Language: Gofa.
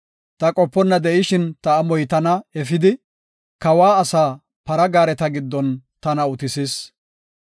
Ta qoponna de7ishin ta amoy tana efidi, kawa asaa para gaareta giddon tana utisis.